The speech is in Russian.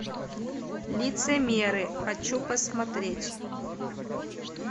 лицемеры хочу посмотреть